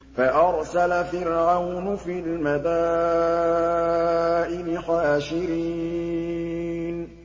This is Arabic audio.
فَأَرْسَلَ فِرْعَوْنُ فِي الْمَدَائِنِ حَاشِرِينَ